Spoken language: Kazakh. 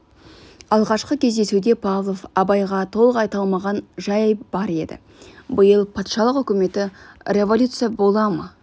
алғашқы кездесуде павлов абайға толық айта алмаған жай бар еді биыл патшалық үкіметі революция бола ма